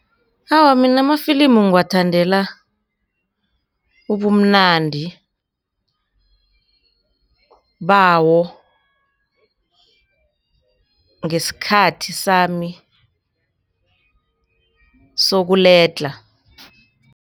Awa, mina amafilimu ngiwathandela ubumnandi bawo ngesikhathi sami sokuledlha.